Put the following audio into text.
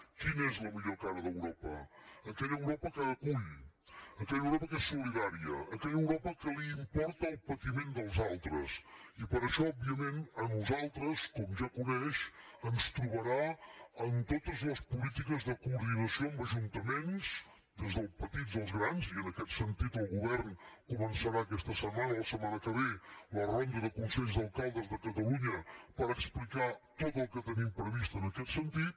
quina és la millor cara d’europa aquella europa que acull aquella europa que és solidària aquella europa que li importa el patiment dels altres i per això òbviament a nosaltres com ja coneix ens trobarà en totes les polítiques de coordinació amb ajuntaments des dels petits als grans i en aquest sentit el govern començarà aquesta setmana o la setmana que ve la ronda de consells d’alcaldes de catalunya per explicar tot el que tenim previst en aquest sentit